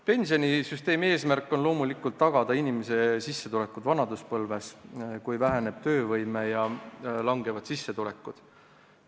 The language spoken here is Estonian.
Pensionisüsteemi eesmärk on loomulikult tagada inimesele sissetulekud ka vanaduspõlves, kui töövõime väheneb ja sissetulekud kahanevad.